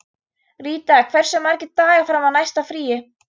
Ríta, hversu margir dagar fram að næsta fríi?